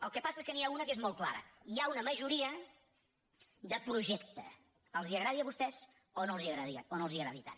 el que passa és que n’hi ha una que és molt clara hi ha una majoria de projecte els agradi a vostès o no els agradi tant